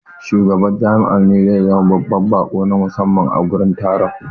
Shugaban jami'a ne zai zama babban baƙo na musamman a gurin taron.